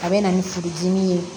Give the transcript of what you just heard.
A bɛ na ni furudimi ye